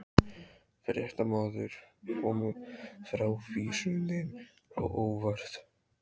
Fréttamaður: Kom frávísunin á óvart?